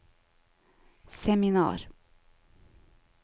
seminar